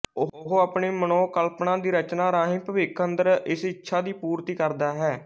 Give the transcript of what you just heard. ਉਹ ਅਪਣੀ ਮਨੋਕਲਪਨਾ ਦੀ ਰਚਨਾ ਰਾਹੀਂ ਭਵਿੱਖ ਅੰਦਰ ਇਸ ਇੱਛਾ ਦੀ ਪੂਰਤੀ ਕਰਦਾ ਹੈ